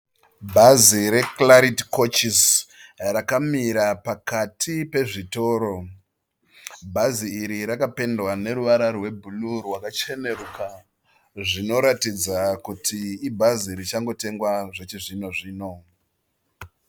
Bhazi re Clarity Couches rakamira pakati pezvitoro. Bhazi iri rakapendwa neruvara rwe bhuruu rwakacheneruka. Zvinoratidza kuti ibhazi richangotengwa zvechi zvino-zvino.